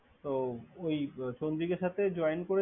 তো ওই চন্দ্রিকার সাথে Join করেছিল।